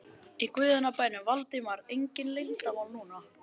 Í guðanna bænum, Valdimar, engin leyndarmál núna!